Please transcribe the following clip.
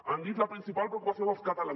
han dit la principal preocupació dels catalans